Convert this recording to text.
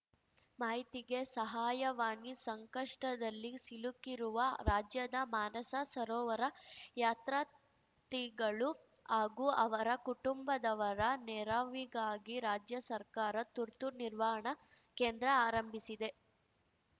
ಮಾಹಿತಿಗೆ ಸಹಾಯವಾಣಿ ಸಂಕಷ್ಟದಲ್ಲಿ ಸಿಲುಕಿರುವ ರಾಜ್ಯದ ಮಾನಸ ಸರೋವರ ಯಾತ್ರಾರ್ಥಿಗಳು ಹಾಗೂ ಅವರ ಕುಟುಂಬದವರ ನೆರವಿಗಾಗಿ ರಾಜ್ಯ ಸರ್ಕಾರ ತುರ್ತು ನಿರ್ವಹಣಾ ಕೇಂದ್ರ ಆರಂಭಿಸಿದೆ